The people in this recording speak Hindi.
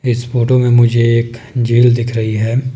इस फोटो में मुझे एक जेल दिख रही है।